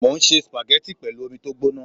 Mo ń se sùpàgẹ́tì pẹ̀lú omi tó gbóná